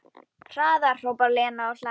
Hraðar, hrópar Lena og hlær.